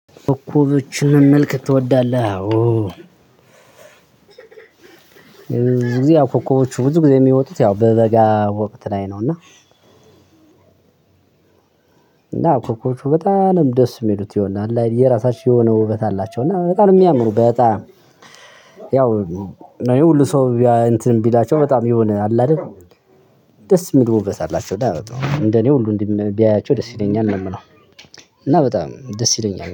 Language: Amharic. ኮከቦችን መመልከት ትወዳለህ? አዎ። ብዙ ጊዜ አዎ ኮከቦች ብዙ ጊዜ የሚወጡት ያው በበጋ ወቅት ላይ ነው። እና እና ኮኮቦቹ በጣምነው ደስ የሚሉትየሆነ አለአይደል የራሳችሁ የሆነ ውበት አላቸው እና በጣም ነው የሚያምሩ። በጣም እና ይሄ ሁሉ ሰው እንትን ቢላቸው በጣም የሆነ አለ አይደል? ደስ ሚል ውበት አላቸው እና እንደኔ ሁሉ ቢያያቸው ደስ ይለኛል ነው የምለው። እና በጣም ደስ ይለኛል